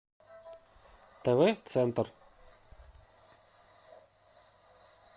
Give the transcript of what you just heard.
тв центр